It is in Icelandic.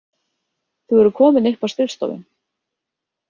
Þau voru komin upp á skrifstofu.